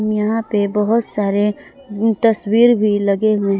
यहां पे बहोत सारे तस्वीर भी लगे हुए हैं।